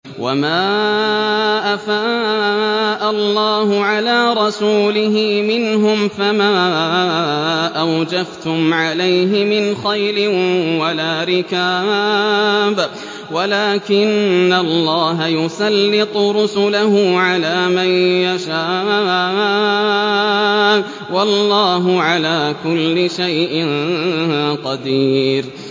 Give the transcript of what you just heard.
وَمَا أَفَاءَ اللَّهُ عَلَىٰ رَسُولِهِ مِنْهُمْ فَمَا أَوْجَفْتُمْ عَلَيْهِ مِنْ خَيْلٍ وَلَا رِكَابٍ وَلَٰكِنَّ اللَّهَ يُسَلِّطُ رُسُلَهُ عَلَىٰ مَن يَشَاءُ ۚ وَاللَّهُ عَلَىٰ كُلِّ شَيْءٍ قَدِيرٌ